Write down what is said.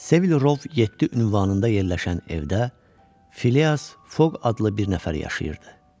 Sevil Rov 7 ünvanında yerləşən evdə Fileas Foq adlı bir nəfər yaşayırdı.